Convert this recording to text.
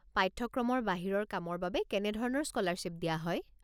পাঠ্যক্ৰমৰ বাহিৰৰ কামৰ বাবে কেনেধৰণৰ স্কলাৰশ্বিপ দিয়া হয়?